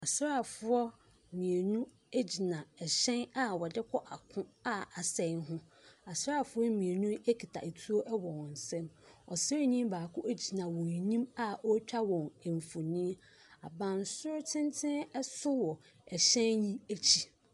Asraa foɔ mmienu egyina ɛhyɛn a wɔde kɔ ako a asɛe ho asraa foɔ mienu ekuta etuo wɔ ɔmo nsɛm asraa ni baako egyina ɔmo enim a otwa wɔn mfonyin abansoro tenten ɛso wɔ ɛhyɛn no ekyi.